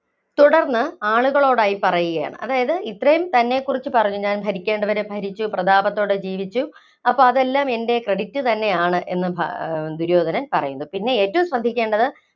തുടര്‍ന്ന് ആളുകളോടായി പറയുകയാണ്. അതായത് ഇത്രയും തന്നെക്കുറിച്ച് പറഞ്ഞു, ഞാന്‍ ഭരിക്കേണ്ടവരെ ഭരിച്ചു, പ്രതാപത്തോടെ ജീവിച്ചു, അപ്പോ അതെല്ലാം എന്‍റെ credit തന്നെയാണ് എന്ന് ദുര്യോധനൻ പറയുന്നു. പിന്നെ ഏറ്റവും ശ്രദ്ധിക്കേണ്ടത്